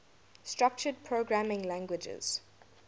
structured programming languages